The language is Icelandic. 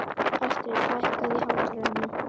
Astrid, lækkaðu í hátalaranum.